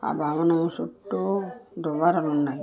ఆ భవనము చుట్టూ దువ్వారల్ ఉన్నాయ్.